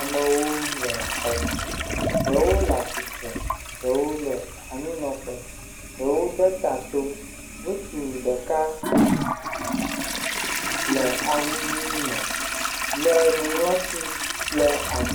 Amewo le xɔ me, ɖewo le atsitre, ɖewo le anyi nɔ ƒe, ɖewo de ta to. Ŋutsu ɖeka le awu ʋi me, le nuŋlɔti ɖe……..